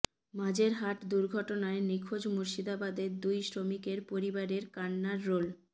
মাঝেরহাট দুর্ঘটনায় নিখোঁজ মুর্শিদাবাদের দুই শ্রমিকের পরিবারে কান্নার রোল